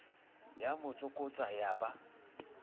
ya mo tsokotsa ya ba